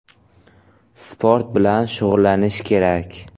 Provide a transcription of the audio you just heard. Sport bilan shug‘ullanish kerak.